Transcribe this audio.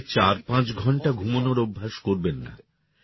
রাতে চারপাঁচ ঘণ্টা ঘুমনোর অভ্যাস করবেন না